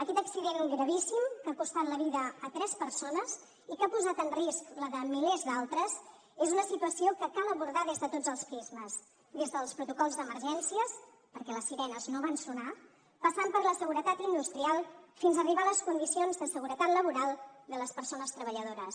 aquest accident gravíssim que ha costat la vida a tres persones i que ha posat en risc la de milers d’altres és una situació que cal abordar des de tots els prismes des dels protocols d’emergències perquè les sirenes no van sonar passant per la seguretat industrial fins arribar a les condicions de seguretat laboral de les persones treballadores